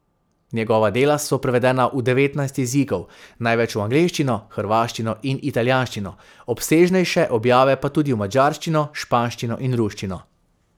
Njegova dela so prevedena v devetnajst jezikov, največ v angleščino, hrvaščino in italijanščino, obsežnejše objave pa tudi v madžarščino, španščino in ruščino.